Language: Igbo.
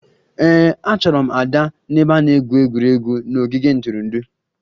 Ee, achọrọ m Ada n'ebe a na-egwu egwuregwu n'ogige ntụrụndụ